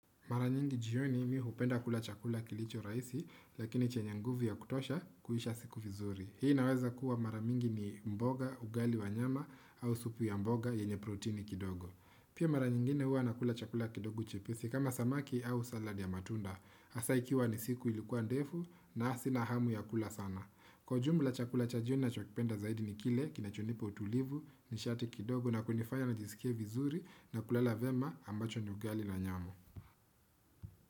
Mara nyingi jioni mi hupenda kula chakula kilicho rahisi, lakini chenye nguvu ya kutosha kuisha siku vizuri. Hii naweza kuwa mara mingi ni mboga, ugali wa nyama au supu ya mboga yenye protini kidogo. Pia mara nyingine huwa nakula chakula kidogo chepesi kama samaki au saladi ya matunda. Hasa ikiwa ni siku ilikuwa ndefu na sina hamu ya kula sana. Kwa ujumla chakula cha jioni ninachokipenda zaidi ni kile kinachonipa utulivu, nishati kidogo na kunifaya nijisikie vizuri na kulala vema ambacho ni ugali na nyama.